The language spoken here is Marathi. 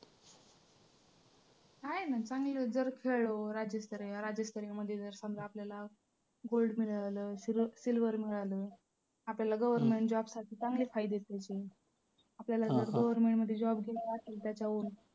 आहे ना चांगलं जर खेळलो राज्यस्तरीय, राज्यस्तरीयमध्ये जर समजा आपल्याला gold मिळालं किंवा silver मिळालं. आपल्याला government job साठी चांगलं फायद्याचं आहे ते आपल्याला जर government मध्ये job घ्यायचा असेल तर त्यावेळी